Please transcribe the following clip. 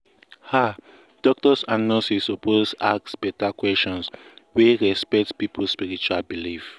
ah doctors and nurses suppose ask better questions wey respect people spiritual belief.